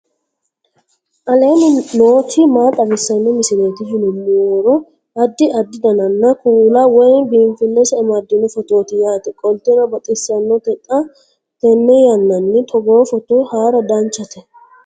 aleenni nooti maa xawisanno misileeti yinummoro addi addi dananna kuula woy biinsille amaddino footooti yaate qoltenno baxissannote xa tenne yannanni togoo footo haara danvchate